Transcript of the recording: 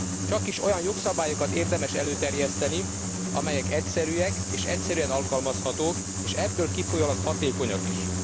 Csakis olyan jogszabályokat érdemes előterjeszteni, amelyek egyszerűek és egyszerűen alkalmazhatók, és ebből kifolyólag hatékonyak is.